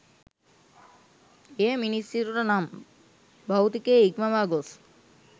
එය මිනිස් සිරුර නම් භෞතිකය ඉක්මවා ගොස්